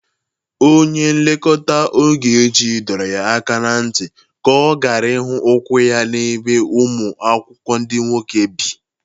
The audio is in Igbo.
Onye nlekwa Ogechi dọrọ ya aka na ntị ka ọ gara ịhụ ụkwụ ya n'ebe ụmụ akwụkwọ ndị nwoke bi